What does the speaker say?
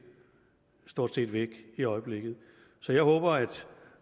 stort set væk i øjeblikket så jeg håber at